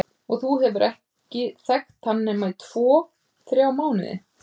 Og þú hefur ekki þekkt hann nema í tvo, þrjá mánuði!